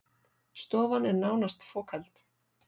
Stofan er nánast fokheld